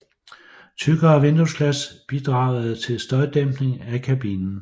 Tykkere vinduesglas bidragede til støjdæmpning af kabinen